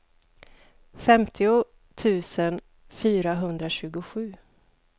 femtio tusen fyrahundratjugosju